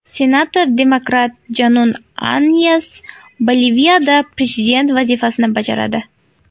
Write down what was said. Senator-demokrat Janun Anyes Boliviyada prezident vazifasini bajaradi.